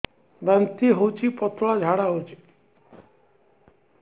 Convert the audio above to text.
ବାନ୍ତି ହଉଚି ପତଳା ଝାଡା ହଉଚି